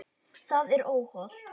Það er óhollt.